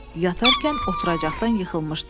Yatarkən oturacaqdan yıxılmışdı.